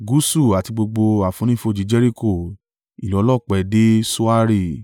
gúúsù àti gbogbo àfonífojì Jeriko, ìlú ọlọ́pẹ dé Soari.